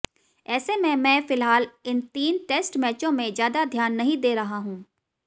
ऐसे में मैं फिलहाल इन तीन टेस्ट मैचों में ज्यादा ध्यान नहीं दे रहा हूं